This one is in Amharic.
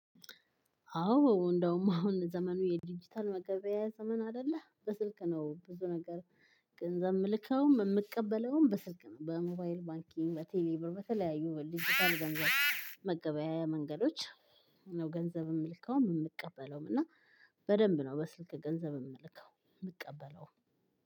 አዎ እንደውም አሁን ዘመኑ የዲጂታል መገበያያ ዘመን አይደለ በስልክ ነው ብዙ ነገር። ምልከውም ምቀበለውም በስልክ ነው በሞባይል ባንኪንግ በቴሌብር በተለያዩ ዲጂታል ገንዘብ መገበያያ መንገዶች። ነው ገንዘብ ምልከውም ምቀበለውም እና በደንብ ነው በስልክ ገንዘብ ምልከው ምቀበለውም።